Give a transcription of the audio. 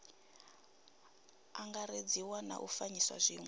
angaredziwa na u fanyisa zwiwe